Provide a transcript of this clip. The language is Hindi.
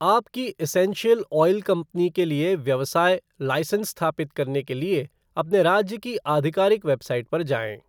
आपकी एसेंशियल ऑयल कंपनी के लिए व्यवसाय लाइसेंस स्थापित करने के लिए अपने राज्य की आधिकारिक वेबसाइट पर जाएँ।